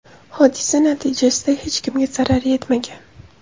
Hodisa natijasida hech kimga zarar yetmagan.